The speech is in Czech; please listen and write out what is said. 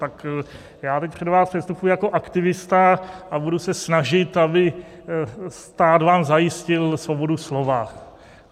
Tak já teď před vás předstupuji jako aktivista a budu se snažit, aby vám stát zajistil svobodu slova.